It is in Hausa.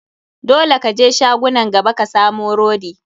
Dole ka je shagunan gaba ka samu rodi.